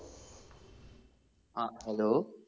അഹ് hello